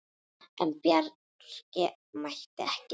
En Bjarki mætti ekki.